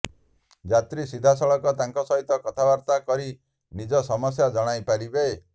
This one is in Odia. ଯାତ୍ରୀ ସିଧାସଳଖ ତାଙ୍କ ସହିତ କଥାବାର୍ତ୍ତା କରି ନିଜ ସମସ୍ୟା ଜଣାଇ ପାରିବେ